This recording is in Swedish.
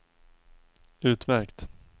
utmärkt